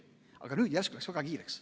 Aga nüüd järsku läks väga kiireks.